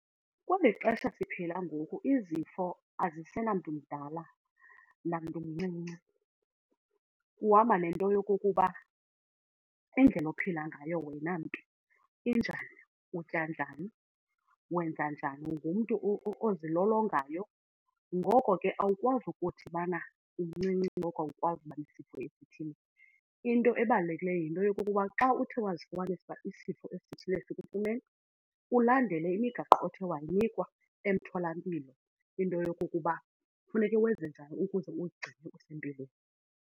Kweli xesha siphila ngoku izifo azisenamntu mdala namntu mncinci. Kuhamba nento yokokuba indlela ophila ngayo wena mntu injani, utya njani, wenza njani, ungumntu ozilolongayo. Ngoko ke awukwazi ukuthi ubana umncinci ngoko awukwazi uba nesifo esithile. Into ebalulekileyo yinto yokokuba xa uthe wazifumanisa isifo esithile kufuneka ulandele imigaqo othe wayinikwa emtholampilo, into yokokuba kufuneke wenze njani ukuze uzigcine usempilweni.